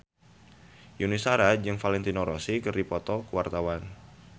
Yuni Shara jeung Valentino Rossi keur dipoto ku wartawan